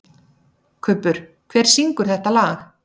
Kubbur, hver syngur þetta lag?